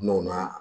N'o na